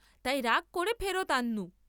তাই রাগ কোরে ফেরত আন্‌নু।